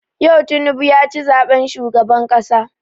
Yau Tinubu ya ci zaben shugaban ƙasa.